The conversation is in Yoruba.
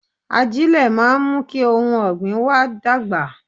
Ajílẹ̀ máa ń mú kí ohun ọ̀gbìn wa dàgbà